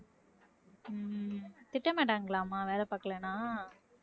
திட்டமாட்டாங்களா அம்மா வேலை பாக்கலேன்னா